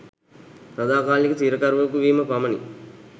සදාකාලික සිරකරුවෙකු වීම පමණි